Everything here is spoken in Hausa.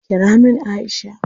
Kira min Aisha!